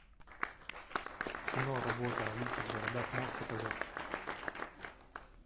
киноработа алиса в городах можешь показать